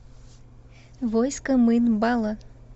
войско мын бала